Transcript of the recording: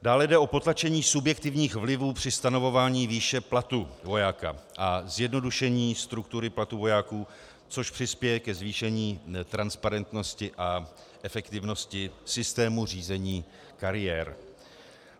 Dále jde o potlačení subjektivních vlivů při stanovování výše platu vojáka a zjednodušení struktury platu vojáků, což přispěje ke zvýšení transparentnosti a efektivnosti systému řízení kariér.